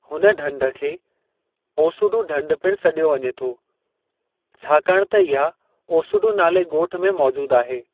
हुन ढंढ खेओसुडु ढंढ पिणु सॾियो वञे थो, छाकाणि त इहाओसुडु नाले ॻोठ में मौजूद आहे।